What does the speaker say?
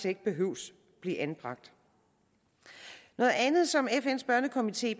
ikke behøver at blive anbragt noget andet som fns børnekomité